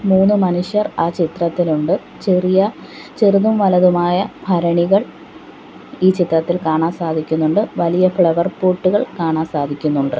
മൂന്ന് മനുഷ്യർ ആ ചിത്രത്തിലുണ്ട് ചെറിയ ചെറുതും വലുതുമായ ഭരണികൾ ഈ ചിത്രത്തിൽ കാണാൻ സാധിക്കുന്നുണ്ട് വലിയ ഫ്ലവർ പോട്ടുകൾ കാണാൻ സാധിക്കുന്നുണ്ട്.